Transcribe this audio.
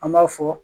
An b'a fɔ